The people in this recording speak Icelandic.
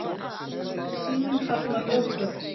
Síminn harmar lögbrot